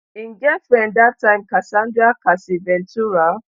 im girlfriend dat time casandra cassie ventura